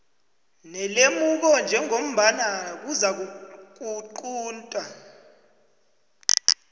nelemuko njengombana kuzakuqunta